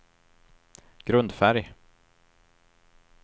grundfärg